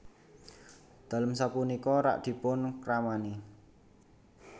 Dalem sapunika rak dipun kramani